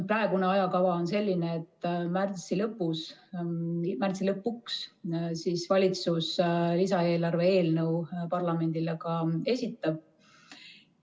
Praegune ajakava on selline, et märtsi lõpuks valitsus lisaeelarve eelnõu parlamendile ka esitab.